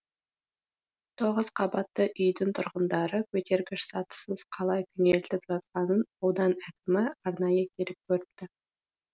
тоғыз қабатты үйдің тұрғындары көтергіш сатысыз қалай күнелтіп жатқанын аудан әкімі арнайы келіп көріпті